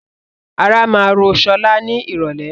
Ara máa rò sọlá ni irọ̀lẹ́